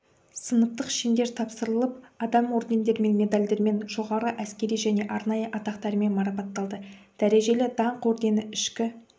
сыныптық шендер тапсырылып адам ордендермен медальдармен жоғарғы әскери және арнайы атақтармен марапатталды дәрежелі даңқ ордені ішкі